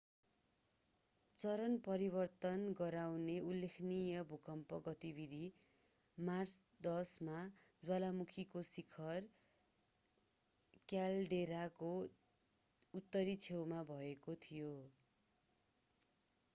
चरण परिवर्तन गराउने उल्लेखनीय भूकम्प गतिविधि मार्च 10 मा ज्वालामुखीको शिखर क्याल्डेराको उत्तरी छेउमा भएको थियो